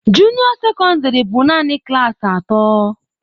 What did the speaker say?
Junio secondary bụ naanị klaasị atọ.